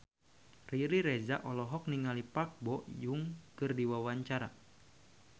Riri Reza olohok ningali Park Bo Yung keur diwawancara